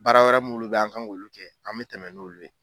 Baara wɛrɛ m'ulu be ye an kan k'olu kɛ an be tɛmɛ n'olu ye